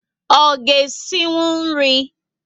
O ga esikwu nri?